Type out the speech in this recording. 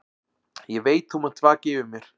Ég veit þú munt vaka yfir mér.